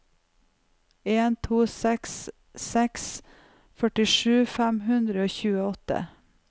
en to seks seks førtisju fem hundre og tjueåtte